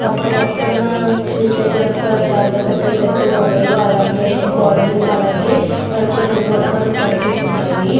పక్క పక్కన చూస్తే గనుక చాలా పెద్ద పెద్ద గోడలు ఇంకా అలాగే చెట్లు కూడా మనకి కనిపిస్తున్నవి.